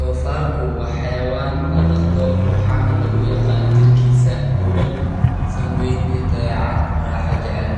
Dofarku wa xayawan ladaqdo waxana laguyaqana jirkisa buran san weyn iyo dabecad raxa jecel,